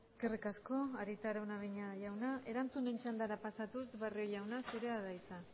eskerrik asko arieta araunabeña jauna erantzunen txandara pasatuz barrio jauna zurea da hitza